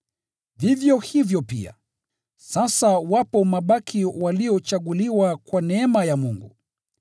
Vivyo hivyo pia, sasa wapo mabaki waliochaguliwa kwa neema ya Mungu.